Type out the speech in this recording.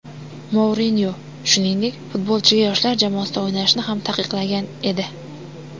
Mourinyo, shuningdek, futbolchiga yoshlar jamoasida o‘ynashni ham taqiqlagan edi .